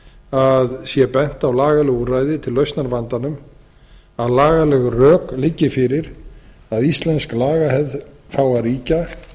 að það sé bent á lagaleg úrræði til lausnar vandanum að lagaleg rök liggi fyrir að íslensk lagahefð fái að ríkja